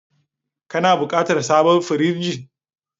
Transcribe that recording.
Kana buƙatar sabon firinji?